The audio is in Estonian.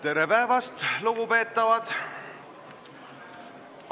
Tere päevast, lugupeetavad!